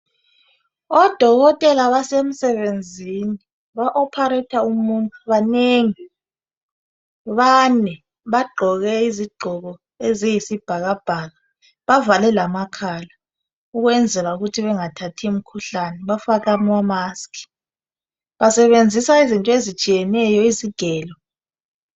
Odokotela basemsebenzini ba operator umuntu banengi bane bagqoke izigqoke eziyisibhakabhaka bavale lamakhala ukwenzela ukuthi bengathathi imikhuhlane bafake amamusk basebenzisa izinto ezitsheyeneyo izigelo